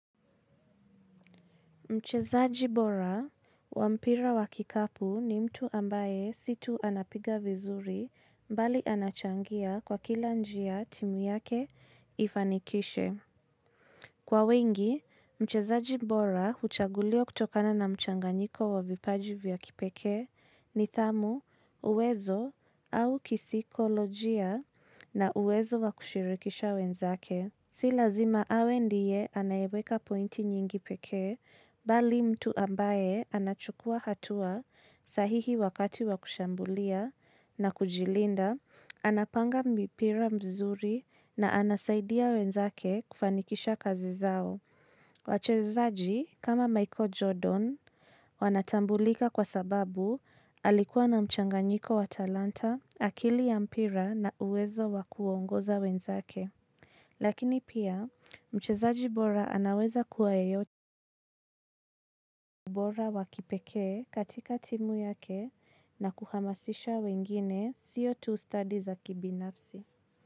Mchezaji bora wampira wakikapu ni mtu ambaye sii tu anapiga vizuri mbali anachangia kwa kila njia timu yake ifanikishe. Kwa wengi, mchezaji bora huchaguliwa kutokana na mchanganyiko wavipaji vya kipeke nithamu uwezo au kisikolojia na uwezo wakushirikisha wenzake. Si lazima awe ndiye anayeweka pointi nyingi pekee, bali mtu ambaye anachukua hatua sahihi wakati wakushambulia na kujilinda, anapanga mipira mizuri na anasaidia wenzake kufanikisha kazi zao. Wachezaji kama Michael Jordan wanatambulika kwa sababu alikuwa na mchanganyiko wa talanta akili ya mpira na uwezo wakuongoza wenzake. Lakini pia, mchezaji bora anaweza kuwa bora wa kipekee katika timu yake na kuhamasisha wengine sio tu studi za kibinafsi.